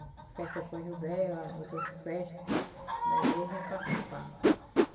Festa do São José, outras festas da igreja, a gente participava.